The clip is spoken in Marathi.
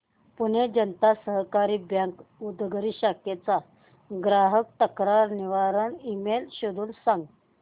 पुणे जनता सहकारी बँक उदगीर शाखेचा ग्राहक तक्रार निवारण ईमेल शोधून सांग